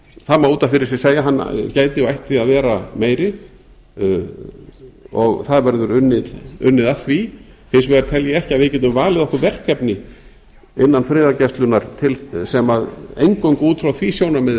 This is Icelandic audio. það má út af fyrir sig segja að hann gæti og ætti að vera meiri og það verður unnið að því hins vegar tel ég ekki að við getum valið okkur verkefni innan friðargæslunnar eingöngu út frá því sjónarmiði